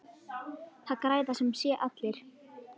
Það græða sem sé allir.